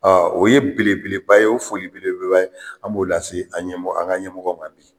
O ye belebeleba ye o foli belebeleba ye an b'o lase an ɲɛmɔgɔ an ka ɲɛmɔgɔ ma bi